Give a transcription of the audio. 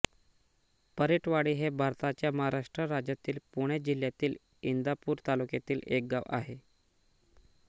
परीटवाडी हे भारताच्या महाराष्ट्र राज्यातील पुणे जिल्ह्यातील इंदापूर तालुक्यातील एक गाव आहे